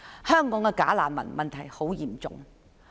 香港的假難民問題非常嚴重。